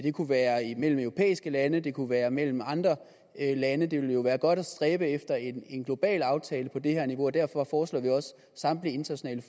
kunne være imellem europæiske lande det kunne være mellem andre lande det ville jo være godt at stræbe efter en global aftale på det her niveau og derfor foreslår vi også samtlige internationale